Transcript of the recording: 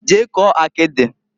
Jee kụọ akidiǃ